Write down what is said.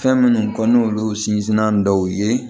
Fɛn minnu ko n'olu sinsinna dɔw ye